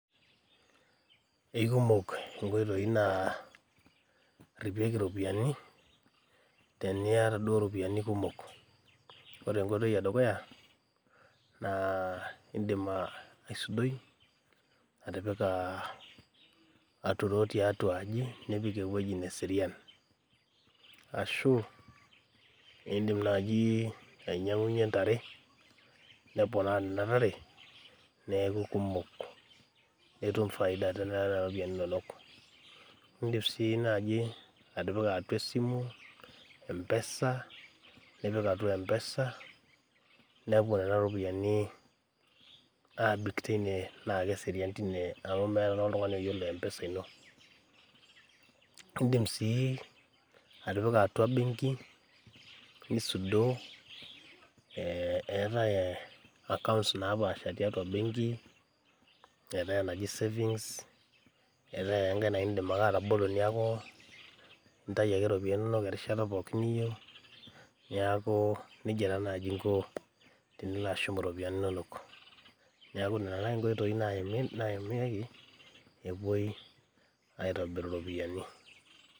Eikumok inkoitoi naaripieki iropiyiani teniyata duo iropiyiani kumok ore enkoitoi edukuya naa indim uh aisudoi atipika aturoo tiatua aji nipik ewueji neserian ashu eindim naaji ainyiang'unyie intare neponaa nena tare neeku kumok netum faida tenana ropiyiani inonok indim sii naaji atipika atua esimu mpesa nipik atua mpesa nepuo nena ropiyiani abik teine naa keserian tine amu meeta naa oltung'ani oyiolo mpesa ino indim sii atipika atua benki nisudoo eh eetae accounts napaasha tiatua benki enaji savings eetae ake enkae naa indim ake atabolo neeku intai ake iropiyiani inonok erishata pookin niyieu niaku nejia taa naaji inko tenilo ashum iropiyiani inonok niaku nana naaji inkoitoi naimi naimieki epuoi aitobiru iropiyiani.